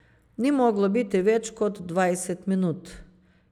Ni moglo biti več kot dvajset minut.